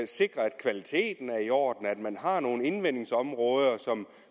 sikre at kvaliteten er i orden og at man har nogle indvindingsområder